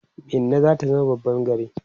Minna zata zama babban gari